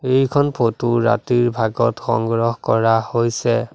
এইখন ফটো ৰাতিৰ ভাগত সংগ্ৰহ কৰা হৈছে।